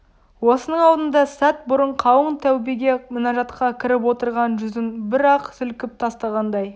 осының алдында сәт бұрын қалың тәубеге мінажатқа кіріп отырған жүзін бір-ақ сілкіп тастағандай